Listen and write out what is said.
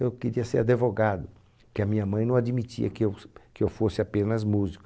Eu queria ser adevogado, porque a minha mãe não admitia que eu s que eu fosse apenas músico.